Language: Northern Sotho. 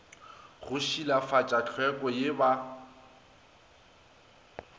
go šilafatša tlhweko ye ba